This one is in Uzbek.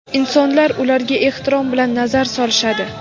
Insonlar ularga ehtirom bilan nazar solishadi.